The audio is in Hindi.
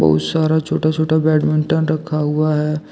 बहुत सारा छोटा-छोटा बैडमिंटन रखा हुआ है।